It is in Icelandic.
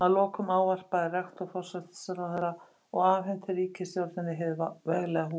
Að lokum ávarpaði rektor forsætisráðherra og afhenti ríkisstjórninni hið veglega hús.